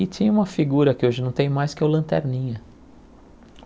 E tinha uma figura, que hoje não tem mais, que é o Lanterninha.